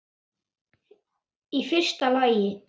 Í fyrsta lagi.